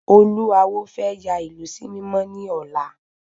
Olú awo fẹ́ yà ìlú sí mímọ́ ni ọ̀la